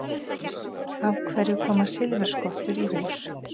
Af hverju koma silfurskottur í hús?